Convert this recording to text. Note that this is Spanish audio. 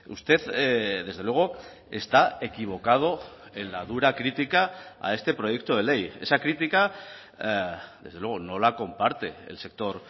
usted desde luego está equivocado en la dura crítica a este proyecto de ley esa crítica desde luego no la comparte el sector